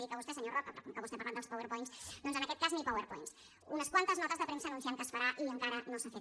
dic a vostè senyor roca però com que vostè ha parlat dels powerpoints doncs en aquest cas ni powerpoints unes quantes notes de premsa anunciant que es farà i encara no s’ha fet